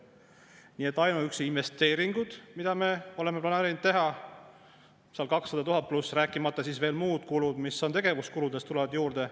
Nii et ainuüksi investeeringud, mida me oleme planeerinud teha, üle 200 000 euro, rääkimata siis veel muud kulud, mis tegevuskuludest tulevad juurde.